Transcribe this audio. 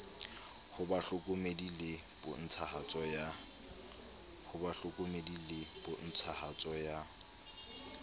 ho bahlokomedi le pontshahatso ya